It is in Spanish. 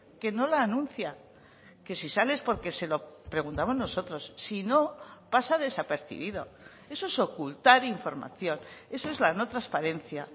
que no la anuncia que si sale es porque se lo preguntamos nosotros si no pasa desapercibido eso es ocultar información eso es la no transparencia